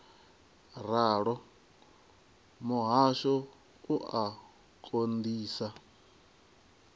ralo muhasho u a konḓisa